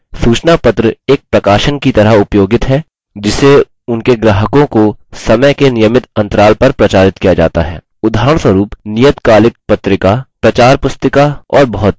सूचनापत्र एक प्रकाशन की तरह उपयोगित है जिसे उनके ग्राहकों को समय के नियमित interval पर प्रचारित किया जाता है उदाहरणस्वरुपनियतकालिक पत्रिका प्रचारपुस्तिका और बहुत कुछ